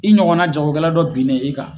I ɲɔgɔnna jagokɛla dɔ binnen e kan.